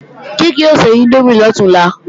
Kíkẹ́ o se índómì lọ̀túnla